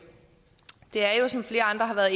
er